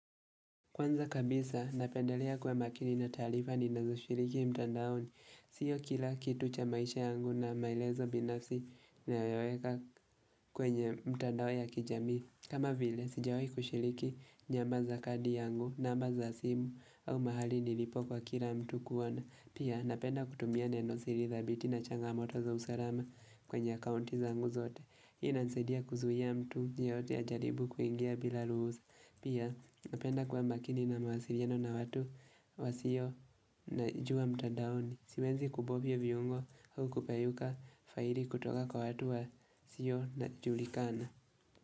Kwanza kabisa, napendelea kuwa makini na taarifa ninazo shiriki mtandaoni. Sio kila kitu cha maisha yangu na maelezo binafsi nayoweka kwenye mtandao ya kijamii. Kama vile, sijawai kushiriki namba za kadi yangu, namba za simu au mahali nilipo kwa kila mtu kuona. Pia, napenda kutumia neno siri thabiti na changamoto za usalama kwenye akaunti zangu zote. Hii inanisaidia kuzuia mtu, yeyote ajaribu kuingia bila ruhusa. Pia, napenda kuwa makini na mawasiliano na watu wasio najua mtadaoni. Siwezi kubovyo viungo au kupayuka faili kutoka kwa watu wa sio na julikana.